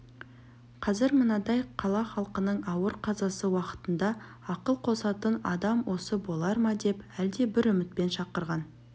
қазір мынандай қала халқының ауыр қазасы уақытында ақыл қосатын адам осы болар ма деп әлде бір үмітпен шақырған